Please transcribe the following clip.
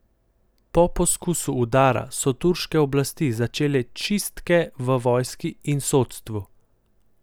Po poskusu udara so turške oblasti začele čistke v vojski in sodstvu.